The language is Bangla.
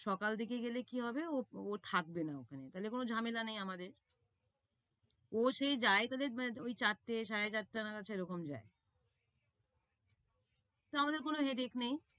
সকাল দিকে গেলে কি হবে, ও ও থাকবে না ওখানে। তাইলে কোনো জামেলা নেই আমাদের। ও সেই যায় চার থেকে সাড়ে চারটা নাগাদ, সেরকমই যায়। তাইলে আমাদের কোনো hadic নেই।